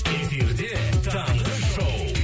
эфирде таңғы шоу